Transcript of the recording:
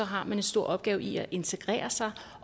har man en stor opgave i at integrere sig